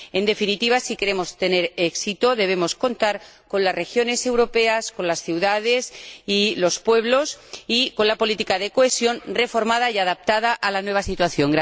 En definitiva, si queremos tener éxito, debemos contar con las regiones europeas, con las ciudades y los pueblos, y con una política de cohesión reformada y adaptada a la nueva situación.